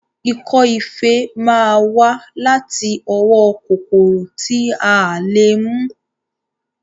Ikọ́ ife máa wá láti ọwọ́ kòkòrò tí a lè mú